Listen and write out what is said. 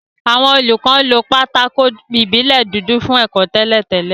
Àwọn olùkọ́ lo pátákó ìbílẹ̀ dúdú fún ẹ̀kọ́ tẹ́lẹ̀ tẹ́lẹ̀